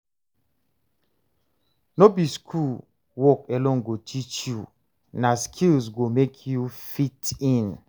No be school work alone go teach you, na skills go make you fit in.